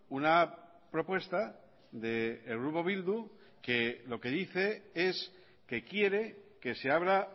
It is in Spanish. una propuesta del grupo bildu que lo que dice es que quiere que se abra